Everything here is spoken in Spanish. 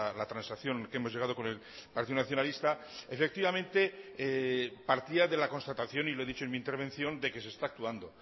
la transacción que hemos llegado con el partido nacionalista efectivamente partía de la constatación y lo he dicho en mi intervención de que se está actuando